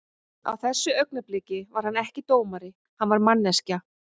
Á þessu augnabliki var hann ekki dómari, hann var manneskja.